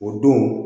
O don